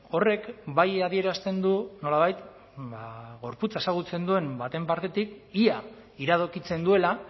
horrek bai adierazten du nolabait gorputza ezagutzen duen baten partetik ia iradokitzen duela